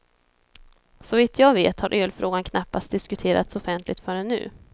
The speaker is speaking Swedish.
Såvitt jag vet har ölfrågan knappast diskuterats offentligt förrän nu.